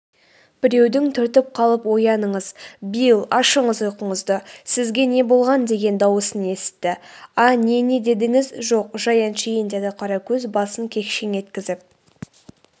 біреудің түртіп қалып ояныңыз билл ашыңыз ұйқыңызды сізге не болған деген дауысын есітті.а не не дедіңіз жоқ жай әншейін деді қаракөз басын кекшең еткізіп